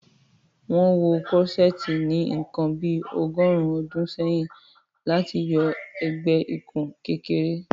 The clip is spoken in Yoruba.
Wọn wọ Corseti ni nkàn bí ọ̀gọ̀rùn ọdún sẹ̀yìn láti yọ ẹgbẹ-ìkùn kékèrè